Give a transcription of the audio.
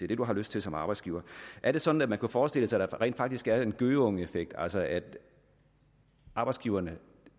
det man har lyst til som arbejdsgiver er det sådan at man kunne forestille sig at der rent faktisk er en gøgeungeeffekt altså at arbejdsgiverne